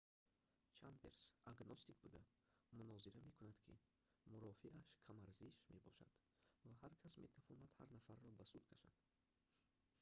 чемберс агностик буда мунозира мекунад ки мурофиааш камарзиш мебошад ва ҳар кас метавонад ҳар нафарро ба суд кашад